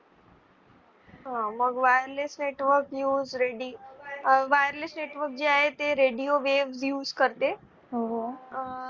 मग wireless networkuse radiowireless network जे आहे ते Radio waves use करते